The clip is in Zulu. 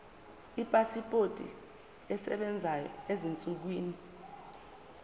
ipasipoti esebenzayo ezinsukwini